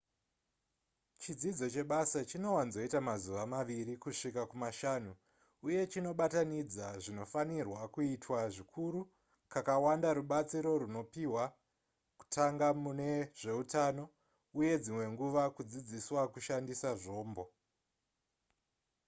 chidzidzo chebasa chinowanzoita mazuva maviri kusvika kumashanu uye chinobatanidza zvinofanirwa kuitwa zvikuru kakawanda rubatsiro runopiwa kutanga mune zveutano uye dzimwe nguva kudzidziswa kushandisa zvombo